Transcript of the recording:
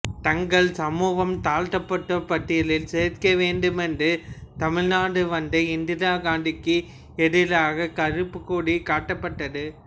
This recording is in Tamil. தங்கள் சமூகம் தாழ்த்தப்பட்டோர் பட்டியலில் சேர்க்க வேண்டுமென்று தமிழ்நாடு வந்த இந்திரா காந்திக்கு எதிராக கருப்பு கொடி காட்டப்பட்டது